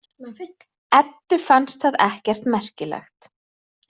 Eddu fannst það ekkert merkilegt.